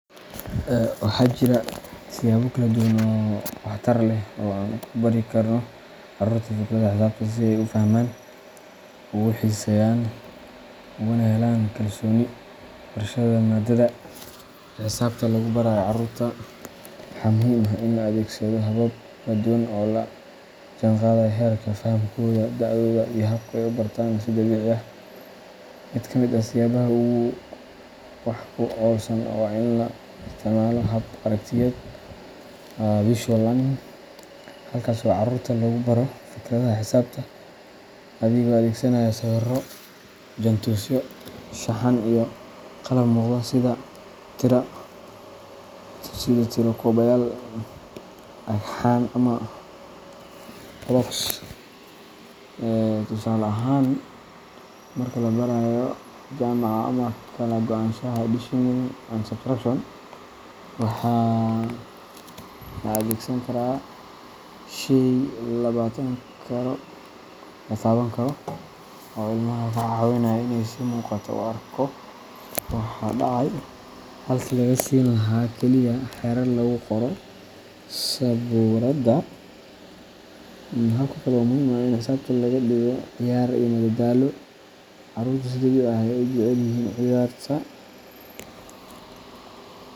Waxaa jira siyaabo kala duwan oo waxtar leh oo aan ugu bari karno carruurta fikradaha xisaabta si ay u fahmaan, ugu xiiseeyaan, ugana helaan kalsooni barashada maaddada. Marka xisaabta lagu barayo carruurta, waxaa muhiim ah in la adeegsado habab kala duwan oo la jaanqaadaya heerka fahamkooda, da’dooda, iyo habka ay u bartaan si dabiici ah. Mid ka mid ah siyaabaha ugu wax ku oolsan waa in la isticmaalo hab aragtiyeed visual learning, halkaas oo carruurta lagu baro fikradaha xisaabta adigoo adeegsanaya sawirro, jaantusyo, shaxan, iyo qalab muuqda sida tiro-koobayaal, dhagxaan ama blocks. Tusaale ahaan, marka la barayo jamaca ama kala-go'a addition and subtraction, waxaa la adeegsan karaa shay la taaban karo oo ilmaha ka caawinaya inuu si muuqata u arko waxa dhacay, halkii laga siin lahaa kaliya xeerar lagu qoro sabuuradda. Hab kale oo muhiim ah waa in xisaabta laga dhigo ciyaar iyo madadaalo. Carruurtu si dabiici ah ayay u jecel yihiin ciyaarta.